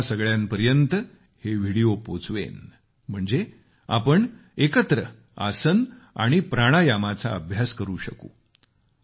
मी तुम्हा सगळ्यांपर्यत हे व्हिडीओ पोचवेन म्हणजे आपण एकत्र आसन आणि प्राणायामाचा अभ्यास करू शकू